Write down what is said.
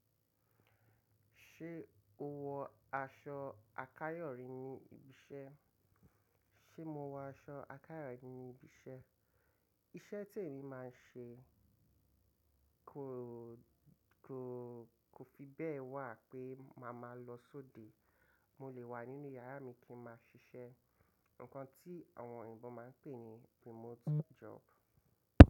Ṣé o wọ aṣọ àkáyọ̀rí ní ibi iṣẹ́? Ṣé mo wọ aṣọ àkáyọ̀rí ní ibi iṣẹ́? Iṣẹ́ tí èmi má ń ṣe kò, kò, kò fi bẹ́ẹ̀ wà pé màá máa lọ sóde. Mo lè wà nínú yàrá mi kí n máa ṣiṣẹ́. Ǹkan tí àwọn òyìnbó máa ń pè ní remote job.